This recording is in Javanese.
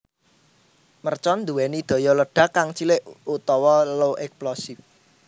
Mercon nduwéni daya ledak kang cilik utawa low explosive